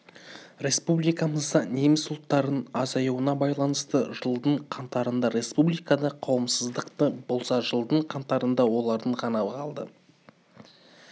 республикамызда неміс ұлттарының азаюына байланысты жылдың қаңтарында республикада қауымдастық болса жылдың қаңтарында олардың ғана қалды